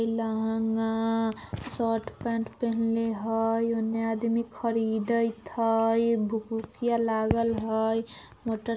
lehenga shirt pant पेहनले हई उन्ने आदमी खरीदइत् हई भुकीया लागल हई मोटर --